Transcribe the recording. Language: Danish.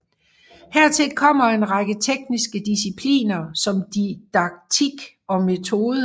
Hertil kommer en række tekniske discipliner som didaktik og metode